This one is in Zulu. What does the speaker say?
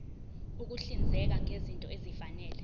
ukuhlinzeka ngezinto ezifanele